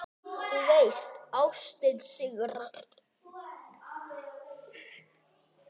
Þú veist: Ástin sigrar.